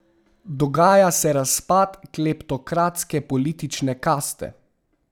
Dogaja se razpad kleptokratske politične kaste.